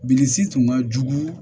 Bilisi tun ka jugu